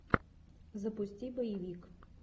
запусти боевик